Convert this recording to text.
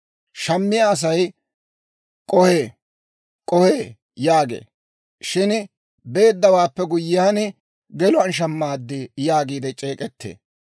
Shammiyaa asay, «K'ohee! K'ohee!» yaagee; shin beeddawaappe guyyiyaan, «geluwaan shamaad» yaagiidde c'eek'ettee.